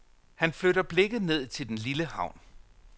Han flytter blikket ned til den lille havn.